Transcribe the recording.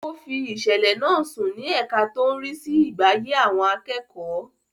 Ó fi ìsẹ̀lẹ̀ náà sùn ní ẹka tó ń rí sí ìgbáyé àwọn akẹ́kọ̀ọ́.